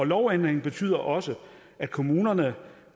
lovændringen betyder også at kommunerne